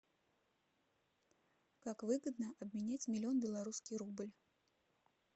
как выгодно обменять миллион белорусский рубль